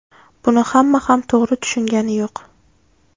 Buni hamma ham to‘g‘ri tushungani yo‘q.